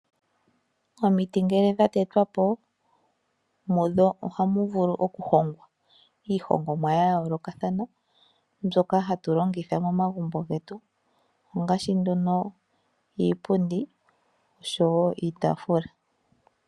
Omiti ngele dha tetwapo mudho ohamu vulu oku hongwa iihongomwa yayolokathana mbyoka hatulongitha momagumbo getu ngaashi iipundi nosho woo iitafula.